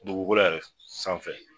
Dugukolo yɛrɛ sanfɛ